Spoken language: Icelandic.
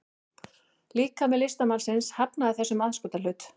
Líkami listamannsins hafnaði þessum aðskotahlut